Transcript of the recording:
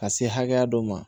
Ka se hakɛya dɔ ma